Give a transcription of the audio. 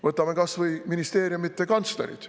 Võtame kas või ministeeriumide kantslerid.